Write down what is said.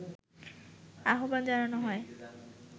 আহবান জানানো হয়